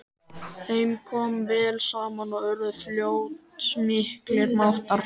Þeim kom vel saman og urðu fljótt miklir mátar.